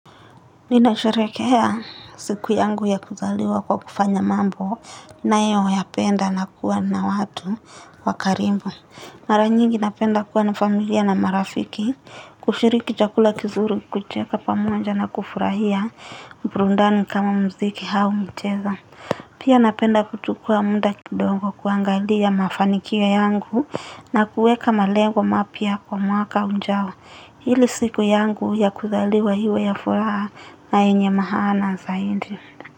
Ninasharehekea siku yangu ya kuzaliwa kwa kufanya mambo ninayoyapenda na kuwa na watu wa karibu. Mara nyingi napenda kuwa na familia na marafiki kushiriki chakula kizuru kucheka pamoja na kufurahia burudani kama mziki au mcheza. Pia napenda kuchukua muda kidongo kuangalia mafanikia yangu na kuweka malengo mapya kwa mwaka ujao. Ili siku yangu ya kuzaliwa iwe ya furaha na yenye maana zaidi.